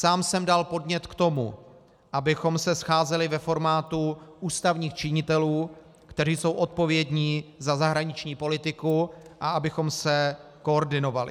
Sám jsem dal podnět k tomu, abychom se scházeli ve formátu ústavních činitelů, kteří jsou odpovědní za zahraniční politiku, a abychom se koordinovali.